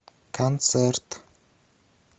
концерт